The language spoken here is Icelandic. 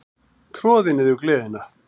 Troði niður gleðina.